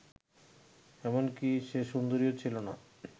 এমনকি সে সুন্দরীও ছিল না